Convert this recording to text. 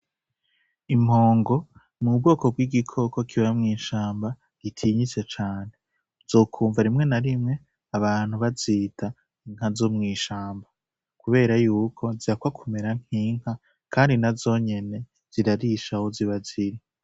Impongo n'ubwoko bw'igikoko kiba mw'ishamba gitinyitse cane, uzokumva rimwe na rimwe abantu bazita inka zo mw'ishamba kubera yuko zihakwa kumera nk'inka kandi nazo nyene zirarisha aho ziba ziri.